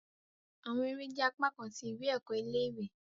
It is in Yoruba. Awọn ere jẹ apakan ti iwe-ẹkọ ile-iwe